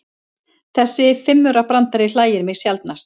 Þessi fimmaurabrandari hlægir mig sjaldnast.